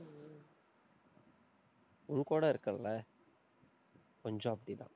உன் கூட இருக்கேன்ல கொஞ்சம் அப்படித்தான்.